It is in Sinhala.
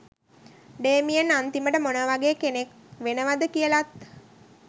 ඩේමියන් අන්තිමට මොනවගේ කෙනෙක් වෙනවද කියලත්